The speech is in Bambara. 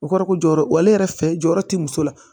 O kɔrɔ ko jɔyɔrɔ wale yɛrɛ fɛ jɔyɔrɔ ti muso la